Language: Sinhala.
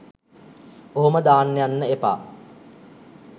ඔහොම දාන්න යන්න එපා.